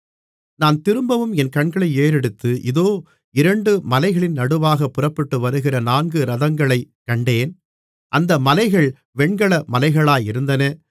நான் திரும்பவும் என் கண்களை ஏறெடுத்து இதோ இரண்டு மலைகளின் நடுவாகப் புறப்பட்டு வருகிற நான்கு இரதங்களைக் கண்டேன் அந்த மலைகள் வெண்கல மலைகளாயிருந்தன